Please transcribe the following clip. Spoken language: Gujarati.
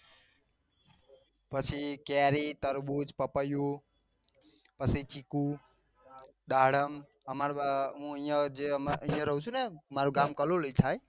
પછી કેરી તરબૂચ પપૈયું પછી ચીકુ દાડમ અ અમાર બ હું જે અહિયાં રહું છું. ને માર ગામ કલોલી થાય.